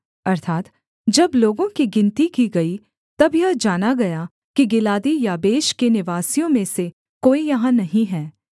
अर्थात् जब लोगों की गिनती की गई तब यह जाना गया कि गिलादी याबेश के निवासियों में से कोई यहाँ नहीं है